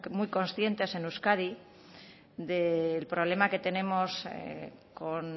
muy conscientes en euskadi del problema que tenemos con